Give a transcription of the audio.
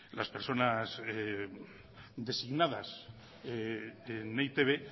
las personas designadas en e i te be